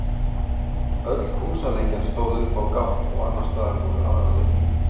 öll húsalengjan stóð upp á gátt og annars staðar voru aðrar lengjur